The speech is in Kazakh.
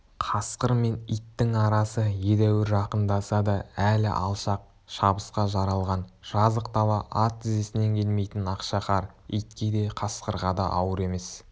қасқыр мен иттің арасы едәуір жақындаса да әлі алшақ шабысқа жаралған жазық дала ат тізесінен келмейтін ақша қар итке де қасқырға да ауыр емес